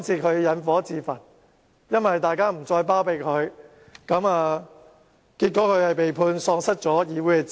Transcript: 他們引火自焚，因為大家不再包庇他們，因而被裁定喪失議席。